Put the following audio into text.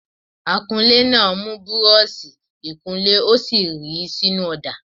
Akunlé náà mù búrọ́ọ̀ṣì -ìkunlé ó sì ríi sínú ọ̀dà.